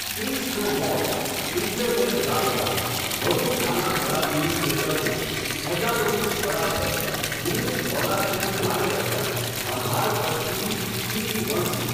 ત્રીસ નાં, મોત. ઇઠયોતેર લાપતા. વધુ ખાનાખરાબીની, ચેતવણી. હજારોનું સ્થળાંતર. દૂધ, ખોરાકની ભારે અછત. અંધારપટથી, સ્થિતિ વણસી.